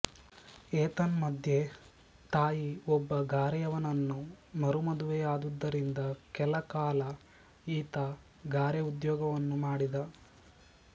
ಏತನ್ಮಧ್ಯೆ ತಾಯಿ ಒಬ್ಬ ಗಾರೆಯವನನ್ನು ಮರುಮದುವೆಯಾದುದರಿಂದ ಕೆಲಕಾಲ ಈತ ಗಾರೆ ಉದ್ಯೋಗವನ್ನೂ ಮಾಡಿದ